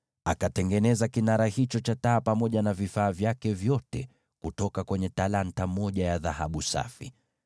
Akatengeneza kinara hicho cha taa pamoja na vifaa vyake vyote kutumia talanta moja ya dhahabu safi.